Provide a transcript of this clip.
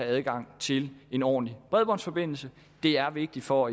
adgang til en ordentlig bredbåndsforbindelse det er vigtigt for